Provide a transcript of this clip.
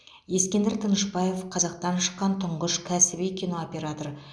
ескендір тынышбаев қазақтан шыққан тұңғыш кәсіби кинооператор